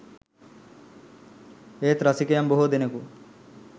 ඒත් රසිකයන් බොහෝ දෙනෙකු